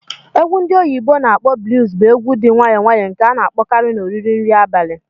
Egwu ndi oyibo na akpo "Blues" bụ egwu dị nwayọ nwayọ nke a na-akpọkarị na oriri nri abalị